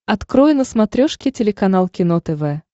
открой на смотрешке телеканал кино тв